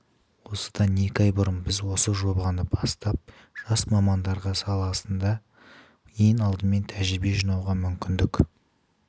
осыдан екі ай бұрын біз осы жобаны бастап жас мамандарға саласында ең алдымен тәжірибе жинауға мүмкіндік